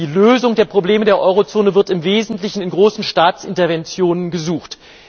Die Lösung der Probleme der Eurozone wird im Wesentlichen in großen Staatsinterventionen gesucht.